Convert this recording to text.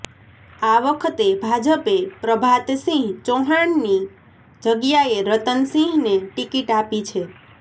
આ વખતે ભાજપે પ્રભાતસિંહ ચૌહાણની જગ્યાએ રતન સિંહને ટિકિટ આપી છે